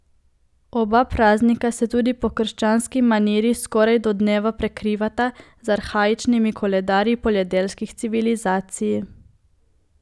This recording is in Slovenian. Oba praznika se tudi po krščanski maniri skoraj do dneva prekrivata z arhaičnimi koledarji poljedelskih civilizacij.